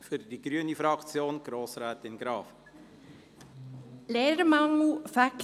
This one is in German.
Ich erteile für die grüne Fraktion Grossrätin Graf das Wort.